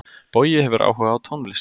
Bogi hefur áhuga á tónlist.